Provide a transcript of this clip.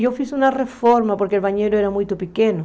Eu fiz uma reforma porque o banheiro era muito pequeno.